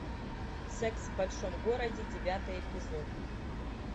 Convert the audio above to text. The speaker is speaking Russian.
секс в большом городе девятый эпизод